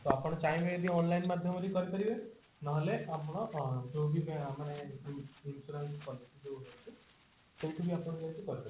ତ ଆପଣ ଚାହିଁବେ ଯଦି online ମାଧ୍ୟମରେ ବି କରି ପାରିବେ ନହେଲେ ଆପଣ ଯୋଉଠି ମାନେ ଅ insurance policy ଯୋଉ ହଉଛି ସେଇଠି ବି ଆପଣ ଯାଇକି କରି ପାରିବେ